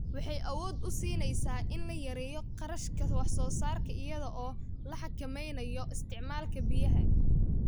Waxay awood u siinaysaa in la yareeyo kharashka wax soo saarka iyada oo la xakameynayo isticmaalka biyaha.